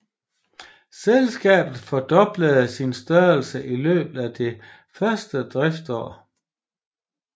Selskabet fordoblede sin størrelse i løbet af det første driftsår